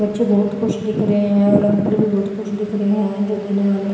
बच्चे बहुत खुश दिख रहे हैं और अंकल भी बहुत खुश दिख रहे हैं जो देने वाले--